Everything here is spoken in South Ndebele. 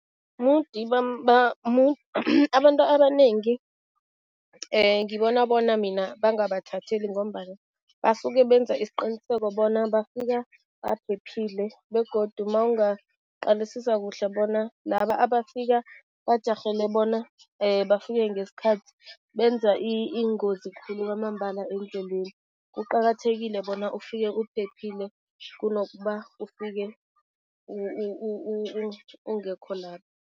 Mudi abantu abanengi ngibona bona mina bangabathatheli ngombana basuke benza isiqiniseko bona bafika baphephile begodu mawungaqalisisa kuhle bona laba abafika bajarhele bona bafike ngesikhathi, benza iingozi khulu kwamambala endleleni. Kuqakathekile bona ufike uphephile, kunokuba ufike ungekho lapha.